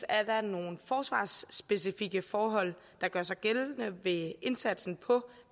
er der nogle forsvarsspecifikke forhold der gør sig gældende ved indsatsen på